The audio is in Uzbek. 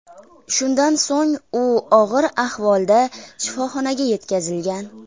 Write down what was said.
Shundan so‘ng u og‘ir ahvolda shifoxonaga yetkazilgan.